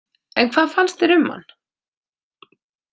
En hvað fannst þér um hann?